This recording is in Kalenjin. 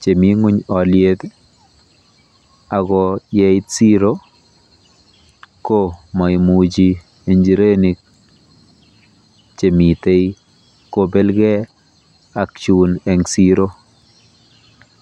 chemi ng'uny oliet ako yeit siro ko maimuchi injirenik chemitei kobelkei ak chun eng siro.